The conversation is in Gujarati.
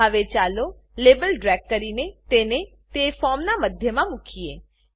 હવે ચાલો લેબલ ડ્રેગ કરીને તેને તે ફોર્મનાં મધ્યમાં મુકીએ